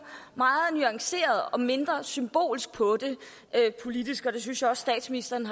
meget nuanceret og mindre symbolsk på det politisk og det synes jeg også statsministeren